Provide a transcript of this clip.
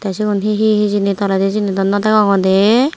tey sigun hi hi hijeni toledi syeni daw naw degongor dey.